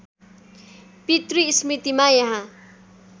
पितृ स्मृतिमा यहाँ